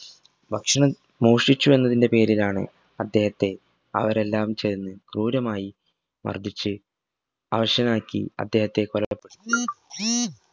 ഭക്ഷണം മോഷ്ടിച്ചു എന്നതിൻറെ പേരിലാണ് അദ്ദേഹത്തെ അവരെല്ലാം ചേർന്ന് ക്രൂരമായി മർദിച്ച്‌ അവശനാക്കി അദ്ദേഹത്തെ കൊലപ്പ